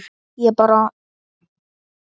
Ég bara.